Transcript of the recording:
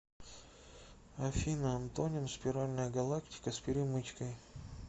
афина антоним спиральная галактика с перемычкой